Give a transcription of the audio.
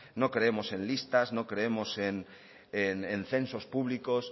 no creemos en listas no creemos en censos públicos